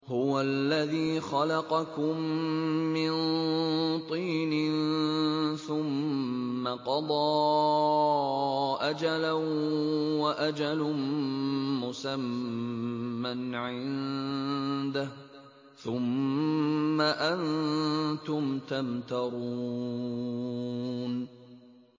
هُوَ الَّذِي خَلَقَكُم مِّن طِينٍ ثُمَّ قَضَىٰ أَجَلًا ۖ وَأَجَلٌ مُّسَمًّى عِندَهُ ۖ ثُمَّ أَنتُمْ تَمْتَرُونَ